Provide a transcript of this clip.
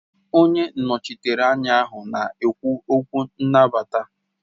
Onye nnọchiteanya ahụ na-ekwu okwu nnabata